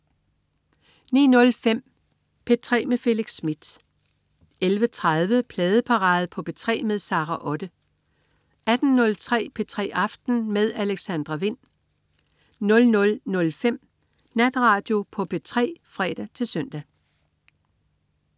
09.05 P3 med Felix Smith 11.30 Pladeparade på P3 med Sara Otte 18.03 P3 aften med Alexandra Wind 00.05 Natradio på P3 (fre-søn)